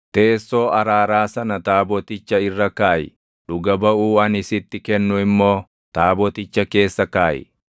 Teessoo araaraa sana taaboticha irra kaaʼi; dhuga baʼuu ani sitti kennu immoo taaboticha keessa kaaʼi.